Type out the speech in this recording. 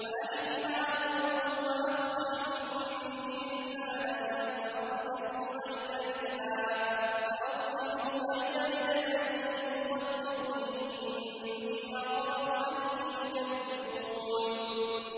وَأَخِي هَارُونُ هُوَ أَفْصَحُ مِنِّي لِسَانًا فَأَرْسِلْهُ مَعِيَ رِدْءًا يُصَدِّقُنِي ۖ إِنِّي أَخَافُ أَن يُكَذِّبُونِ